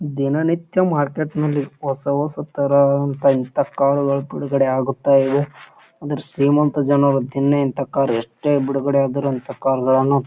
ದಿನನಿತ್ಯ ಮಾರ್ಕೆಟ್ ನಲ್ಲಿ ಹೊಸ ಹೊಸ ತರಹ ಹಂತ ಇಂತ ಕಾರ್ ಗಳು ಬಿಡುಗಡೆ ಆಗುತ್ತಾ ಇವೆ ಆದ್ರ ಶ್ರೀಮಂತ ಜನರು ದಿನ ಇಂತ ಕಾರ್ ಎಷ್ಟೇ ಬಿಡುಗಡೆ ಆದರು ಇಂತ ಕಾರ ಗಳನ್ನ --